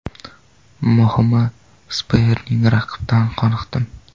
Muhimi sparing raqibdan qoniqdim.